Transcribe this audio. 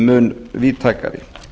mun víðtækari